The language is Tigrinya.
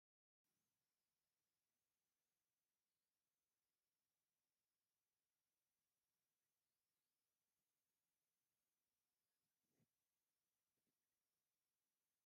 በሊሕ ፅሊም መትሕዚ ዘለዎ ካራ ኣብ ሐምዳይ ድሕረ ባይታ ይርከብ ። እቲ መትሕዚ ናይቲ ካራ ሲ ዝመስል ቂርፂ ኣለዎ ።